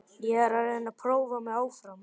Ég er að reyna að prófa mig áfram.